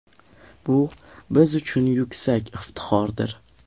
Bu biz uchun yuksak iftixordir.